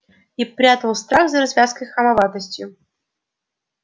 и прятал страх за развязкой хамоватостью